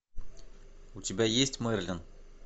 у тебя есть мерлин